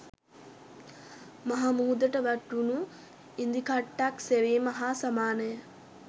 මහ මුහුදට වැටුණු ඉදිකට්ටක් සෙවීම හා සමානය